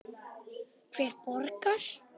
Hver borgar?